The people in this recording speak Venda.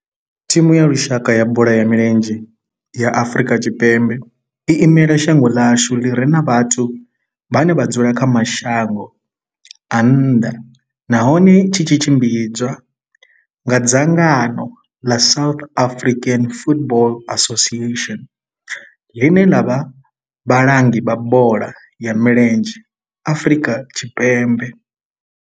Thimu ya lushaka ya bola ya milenzhe ya Afrika Tshipembe i imela shango ḽa hashu ḽi re na vhathu vhane vha dzula kha mashango a nnḓa nahone tshi tshimbidzwa nga dzangano ḽa South African Football Association, ḽine ḽa vha vhalangi vha bola ya milenzhe Afrika Tshipembe.